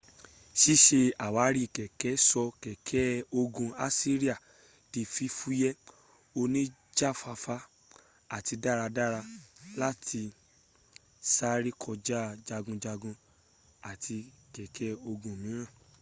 sísẹ àwárí kèké sọ kèké ogun assiria di fífúyé oníjàfáfá àti dáradára láti sárẹ́ kọja jagunjagun àti kèké ogun míràn